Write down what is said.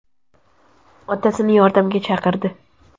Otasini yordamga chaqirdi.